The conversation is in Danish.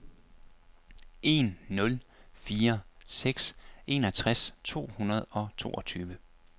en nul fire seks enogtres to hundrede og toogtyve